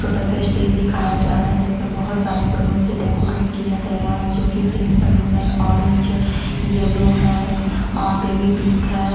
छोटा सा स्टेज दिखाया जा रहा हैं जिस पर बहुत सारे बैलून से डेकोरेट किया गया हैं जो कि पिंक बैलून हैं ऑरेंज है येल्लो हैं और बेबी पिंक हैं ।